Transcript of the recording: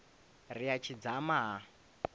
ri a tshi dzama ha